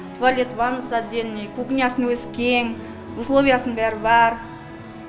туалет ваннасы отдельный кухнясының өзі кең условиясының бәрі бар